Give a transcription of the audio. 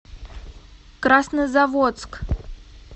краснозаводск